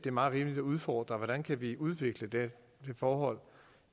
er meget rimeligt at udfordre hvordan vi vi kan udvikle det forhold